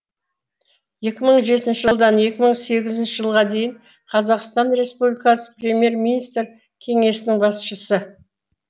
екі мың жетінші жылдан екі мың сегізінші жылға дейін қазақстан республикасы премьер министрі кеңсесінің басшысы